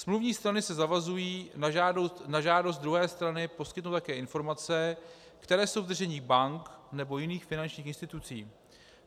Smluvní strany se zavazují na žádost druhé strany poskytnout také informace, které jsou v držení bank nebo jiných finančních institucí.